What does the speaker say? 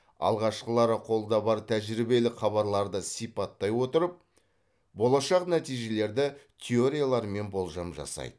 алғашқылары қолда бар тәжірибелік хабарларды сипаттай отырып болашақ нәтижелерді теориялармен болжам жасайды